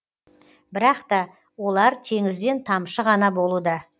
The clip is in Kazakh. бірақта олар теңізден тамшы ғана болуда